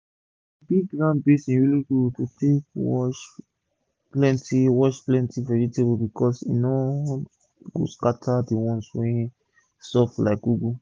d big round basin really good to take wash plenty wash plenty vegetable becos e no go scata d ones wey soft like ugu